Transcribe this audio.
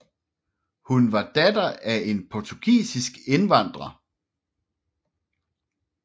Hun var datter af en portugisisk indvandrer